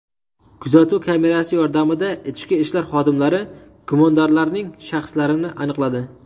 Kuzatuv kamerasi yordamida ichki ishlar xodimlari gumondorlarning shaxslarini aniqladi.